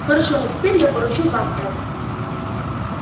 хорошо но теперь я поручу вам это